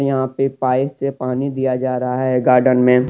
यहां पे पाइप से पानी दिया जा रहा हैगार्डन मे ।